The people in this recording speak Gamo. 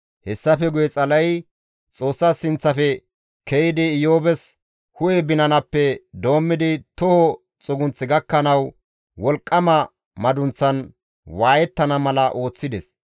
Hessafe guye Xala7ey Xoossa sinththafe ke7idi Iyoobes hu7e binanappe doommidi toho xugunth gakkanawu wolqqama madunththan waayettana mala ooththides.